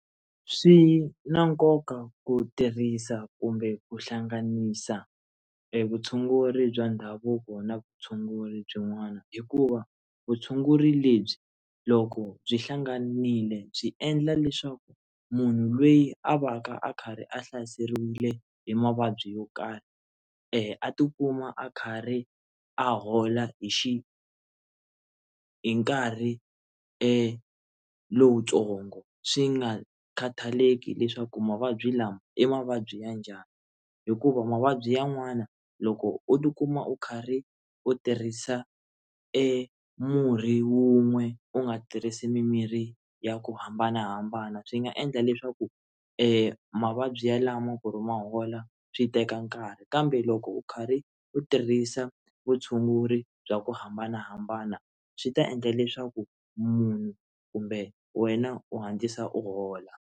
Swi na nkoka ku tirhisa kumbe ku hlanganisa vutshunguri bya ndhavuko na vutshunguri byin'wana hikuva vutshunguri lebyi loko byi hlanganile byi endla leswaku munhu loyi a va ka a karhi a hlaseriwile hi mavabyi yo karhi a tikuma a karhi a hola hi hi nkarhi lowutsongo swi nga khataleki leswaku mavabyi lama i mavabyi ya njhani hikuva mavabyi yan'wana loko u tikuma u karhi u tirhisa murhi wun'we u nga tirhisi mimirhi ya ku hambanahambana swi nga endla leswaku mavabyi ya lama ku ri ma hola swi teka nkarhi kambe loko u karhi u tirhisa vutshunguri bya ku hambanahambana swi ta endla leswaku munhu kumbe wena u hatlisa u hola.